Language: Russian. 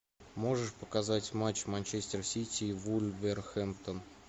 можешь показать матч манчестер сити и вулверхэмптон